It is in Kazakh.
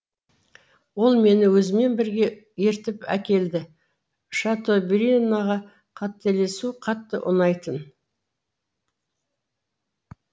ол мені өзімен бірге ертіп әкелді шатобрианға қателесу қатты ұнайтын